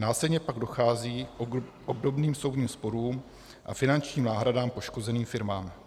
Následně pak dochází k obdobným soudním sporům a finančním náhradám poškozeným firmám.